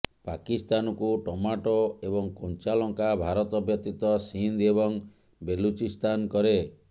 ପାକିସ୍ତାନକୁ ଟମାଟୋ ଏବଂ କଞ୍ଚା ଲଙ୍କା ଭାରତ ବ୍ୟତୀତ ସିନ୍ଧ ଏବଂ ବେଲୁଚିସ୍ଥାନ କରେ